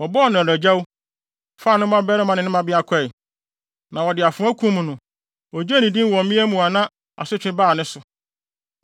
Wɔbɔɔ no adagyaw, faa ne mmabarima ne ne mmabea kɔe, na wɔde afoa kum no. Ogyee ne din wɔ mmea mu na asotwe baa ne so.